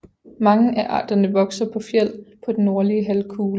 Mange af arterne vokser på fjeld på den nordlige halvkugle